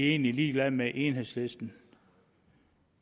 egentlig ligeglad med enhedslisten